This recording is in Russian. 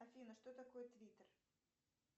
афина что такое твиттер